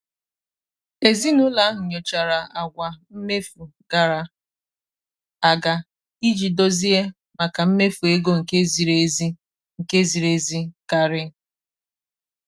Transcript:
ezinụlọ ahụ nyochara àgwà mmefu gara aga iji dozie maka mmefu ego nke ziri ezi nke ziri ezi karị.